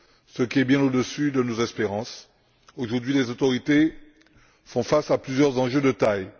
ce qui est bien au dessus de nos espérances. Aujourd'hui, les autorités font face à plusieurs enjeux de taille.